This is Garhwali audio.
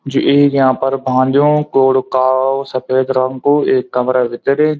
जू एक यांपर भांजो कूड़ु का सफ़ेद रंग कु एक कमरा भीतर।